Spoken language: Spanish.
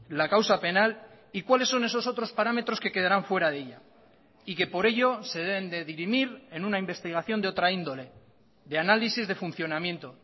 la causa penal y cuáles son esos otros parámetros que quedarán fuera de ella y que por ello se deben de dirimir en una investigación de otra índole de análisis de funcionamiento